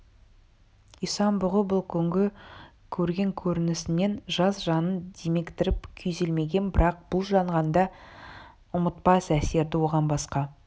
исан-бұғы бұл күнгі көрген көрінісінен жас жанын деміктіріп күйзелмеген бірақ бұл жалғанда ұмытпас әсерді оған басқа